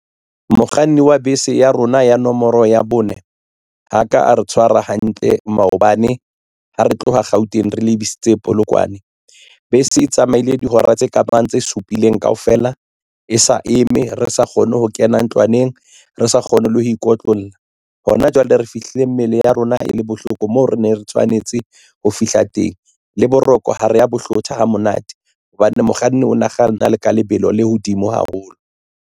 Mokganni wa bese ya rona ya nomoro ya bone ha ka a re tshwara hantle maobane ha re tloha Gauteng re lebisitse Polokwane. Bese e tsamaile dihora tse kabang tse supileng kaofela e sa eme re sa kgone ho kena ntlwaneng re sa kgone le ho ikotlolla hona jwale re fihlile mmele ya rona e le bohloko moo re neng re tshwanetse ho fihla teng le boroko ha re ya bohlokwa ho monate hobane mokganni o ne a kganna ka lebelo le hodimo haholo.